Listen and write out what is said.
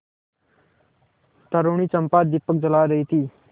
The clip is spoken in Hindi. तरूणी चंपा दीपक जला रही थी